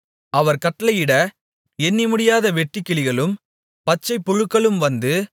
அவர் கட்டளையிட எண்ணிமுடியாத வெட்டுக்கிளிகளும் பச்சைப்புழுக்களும் வந்து